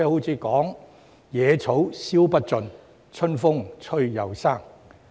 然而，"野草燒不盡、春風吹又生"。